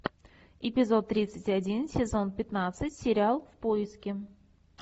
эпизод тридцать один сезон пятнадцать сериал в поиске